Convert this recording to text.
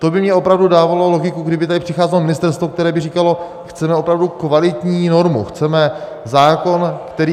To by mně opravdu dávalo logiku, kdyby tady přicházelo ministerstvo, které by říkalo, chceme opravdu kvalitní normu, chceme zákon, který...